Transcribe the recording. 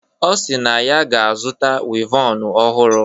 Ọ si na ọ ga-azụta wivọnu ọhụrụ.